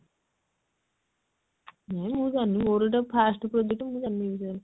ହେ ମୁଁ ଜାଣିନି ମୋର ଏଇଟା first project ମୁଁ ଜାଣିନି ଏ ବିଷୟରେ